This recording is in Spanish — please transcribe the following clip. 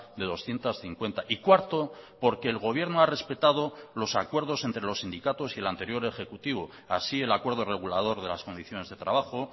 de doscientos cincuenta y cuarto porque el gobierno ha respetado los acuerdos entre los sindicatos y el anterior ejecutivo así el acuerdo regulador de las condiciones de trabajo